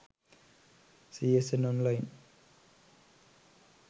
csn online